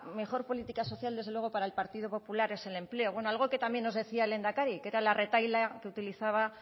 mejor política social desde luego para el partido popular es el empleo bueno algo que también nos decía el lehendakari que era la retahíla que utilizaba